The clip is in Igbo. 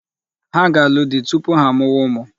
Ha ga-anụ di tupu ha amụwa ụmụ.